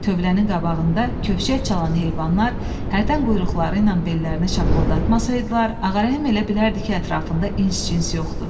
Tövlənin qabağında kövşək çalan heyvanlar hərdən quyruqları ilə bellərini şapıldatmasaydılar, Ağarəhim elə bilərdi ki, ətrafında ins-cins yoxdur.